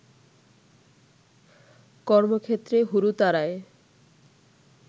কর্মক্ষেত্রে হুড়োতাড়ায়